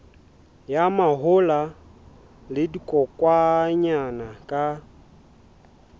ya mahola le dikokwanyana ka